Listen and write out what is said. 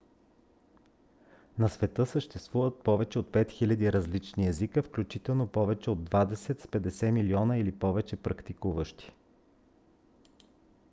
на света съществуват повече от 5000 различни езика включително повече от двадесет с 50 милиона или повече практикуващи